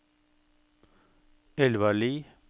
Elvarli